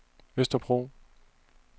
Østerbro